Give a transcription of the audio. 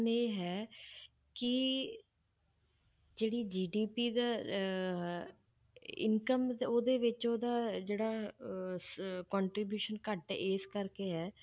ਇਹ ਹੈ ਕਿ ਜਿਹੜੀ GDP ਦਾ ਅਹ income ਉਹਦੇ ਵਿੱਚ ਉਹਦਾ ਜਿਹੜਾ ਅਹ ਸ~ contribution ਘੱਟ ਇਸ ਕਰਕੇ ਹੈ,